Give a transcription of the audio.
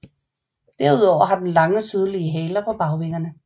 Herudover har den lange tydelige haler på bagvingerne